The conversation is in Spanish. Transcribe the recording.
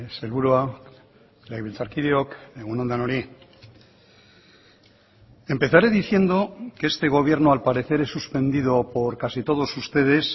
sailburua legebiltzarkideok egun on denoi empezaré diciendo que este gobierno al parecer es suspendido por casi todos ustedes